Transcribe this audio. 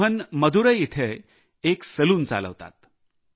मोहन मुदैर येथे एक सलून चालवतात